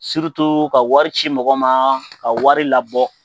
Surutu ka wari ci mɔgɔ ma ka wari labɔ